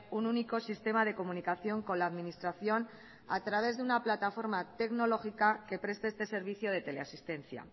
un único sistema de comunicación con la administración a través de una plataforma tecnológica que preste este servicio de teleasistencia